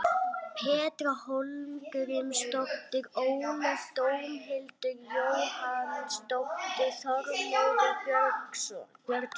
Petra Hólmgrímsdóttir Ólöf Dómhildur Jóhannsdóttir Þormóður Björnsson